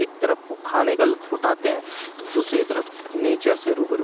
एक तरफ वो खाने का लुत्फ उठाते हैं दूसरी तरफ नेचर से रूबर--